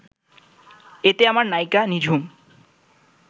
এতে আমার নায়িকা নিঝুম